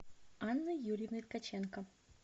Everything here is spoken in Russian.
анной юрьевной ткаченко